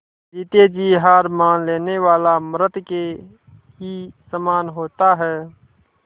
जीते जी हार मान लेने वाला मृत के ही समान होता है